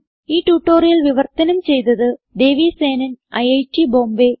ഈ ട്യൂട്ടോറിയൽ വിവർത്തനം ചെയ്തത് ദേവി സേനൻ ഐറ്റ് ബോംബേ